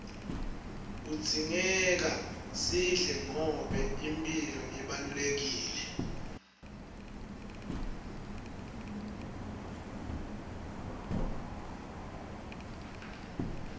kudzingeka sidle ngoba imphilo ibalulekile